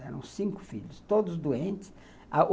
Eram cinco filhos, todos doentes.